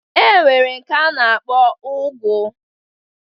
E nwere nke a na-akpọ ụgụ